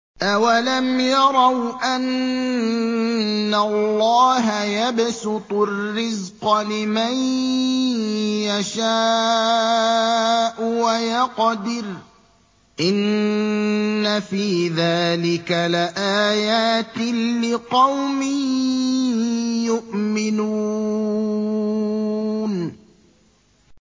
أَوَلَمْ يَرَوْا أَنَّ اللَّهَ يَبْسُطُ الرِّزْقَ لِمَن يَشَاءُ وَيَقْدِرُ ۚ إِنَّ فِي ذَٰلِكَ لَآيَاتٍ لِّقَوْمٍ يُؤْمِنُونَ